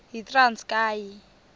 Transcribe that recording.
yitranskayi